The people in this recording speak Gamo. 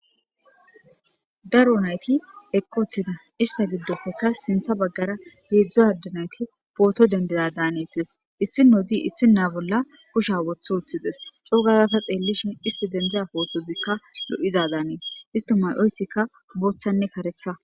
daro nayti eqqoteda issa giddopekka sintha baggara heedzdzo adanayti pooto dendiza daanetes issi no zi issi naa bolla kusha wotho woththides coo gazata xeellishin isti dendiza pootozikka lo7iza daanes istimayoyssikka booththanne karetha